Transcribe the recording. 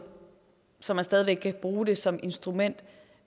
så man stadig væk kan bruge den som et instrument